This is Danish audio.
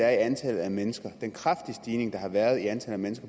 at antallet af mennesker i den kraftige stigning der har været i antallet af